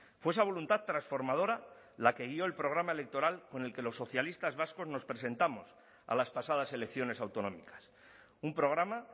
fue esa voluntad transformadora la que guio el programa electoral con el que los socialistas vascos nos presentamos a las pasadas elecciones autonómicas un programa